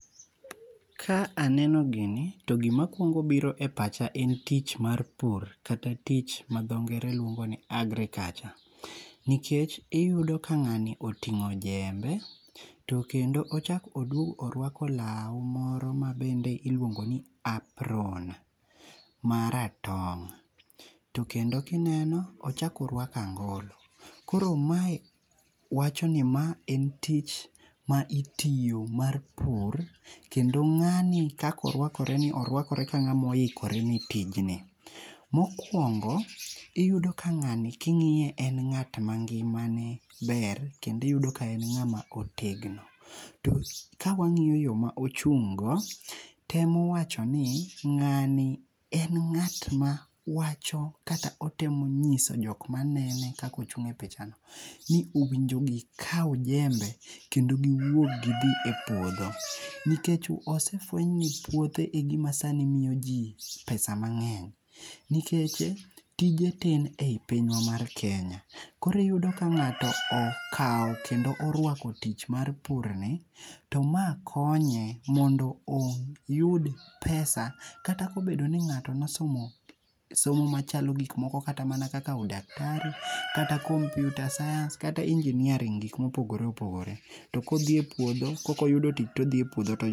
Ka aneno gini to gima kuongo biro e pacha en tich mar pur kata tich ma dho ngere luongo ni agriculture. Nikech iyudo ka ng'ani oting'o jembe to kendo ochako oruako law moro mabende iluongo ni apron maratong'. To kendo ka ineno ochako oruako angolo koro mae wacho ni ma en tich ma itiyo mar pur kendo ng'ani kaka orwakoreni, orwakore ka ng'ama oikore ni tijni. Mokuongo iyudo ka ng'ani ka ing'iye en ng'at ma ngimane ber kendo iyudo ka en ng'ama otegno. Ka wang'iyo yo ma ochung' go, temo wacho ni ng'ani en ng'at ma wacho kata otemo nyiso jok maneno kaka ochung' e picha ni , ni owinjo gikaw jembe kendo giwuog gidhi e puodho nikech osefueny ni puothe egima sani miyoji pesa mang'eny nikech tije tin ei pinywa mar Keny koro iyudo ka ng'ato okawo kendo orwako tich mar purni to ma konye mondo oyud pesa kata ka obedo ni ng'ato ne osomo somo machalo gik moko kata mana kaka udaktari kata kompiuta sayans kata ingineering gik ma opogore opogore, to kodhi e puodho kok oyudo tich to odhi